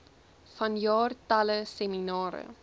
vanjaar talle seminare